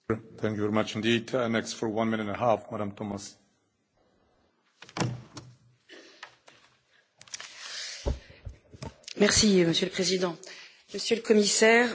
Monsieur le Président, Monsieur le Commissaire, Mesdames de la présidence bulgare, mes chers collègues, dans les discussions désormais ouvertes sur les finances de l'Union européenne,